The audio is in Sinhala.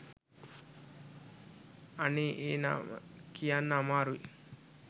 අනේ ඒ නම කියන්න අමාරුයි